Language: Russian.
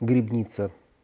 грибница